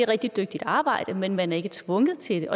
rigtig dygtigt arbejde men man er ikke tvunget til